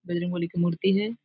बजरंग बली की मूर्त्ति है।